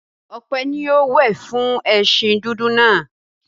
Ope ni yóò wẹ̀ fún ẹṣin dúdú náà.